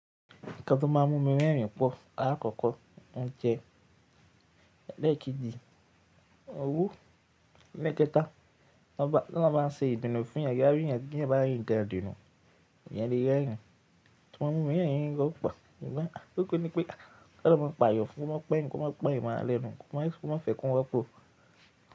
Kí lọ bá má mú mi rẹ́rìn pọ̀? Àkọ́kọ́ óujjẹ́ ẹlẹ́kejì, owó, lẹ́kẹ́ta lọ bá ń ṣe ìbínú fún yàn, yá rí yàn bí yàn bá rí ń kan ìbínú, èèyàn lè rẹ́rìn. Ṣé wọn mú mi rẹ́rìn gẹ́gẹ́ pa? Ṣùgbọ́n à tókù ni pé kí wọ́n máa pa yọ̀ fún, kí wọ́n má pẹ̀ yín, kí wọ́n má pẹ̀ yín mọ́ alẹ́ nu, kí wọ́n má fẹ́ kí wọn pọ̀.